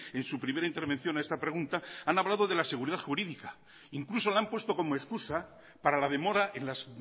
en su primera intervención a esta pregunta han hablado de la seguridad jurídica incluso la han puesto como excusa para la demora en las